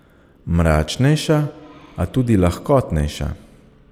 Mračnejša, a tudi lahkotnejša.